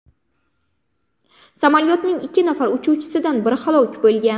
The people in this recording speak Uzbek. Samolyotning ikki nafar uchuvchisidan biri halok bo‘lgan.